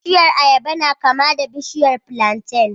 Bishiyar ayaba na kama da bishiyar plantain